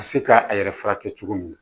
Ka se ka a yɛrɛ furakɛ cogo min na